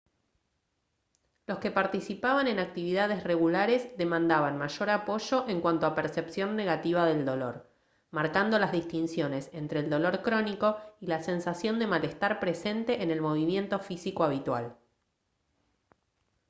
los que participaban en actividades regulares demandaban mayor apoyo en cuanto a percepción negativa del dolor marcando las distinciones entre el dolor crónico y la sensación de malestar presente en el movimiento físico habitual